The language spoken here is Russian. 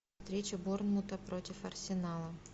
встреча борнмута против арсенала